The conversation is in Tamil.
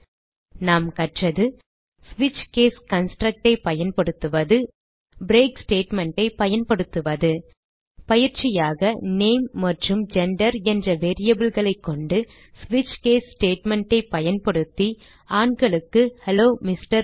இதில் நாம் கற்றது ஸ்விட்ச் கேஸ் construct ஐ பயன்படுத்துவது பிரேக் statement ஐ பயன்படுத்துவது பயிற்சியாக நேம் மற்றும் ஜெண்டர் என்ற variableகளைக் கொண்டு ஸ்விட்ச் கேஸ் statement ஐ பயன்படுத்தி ஆண்களுக்கு ஹெல்லோ எம்ஆர்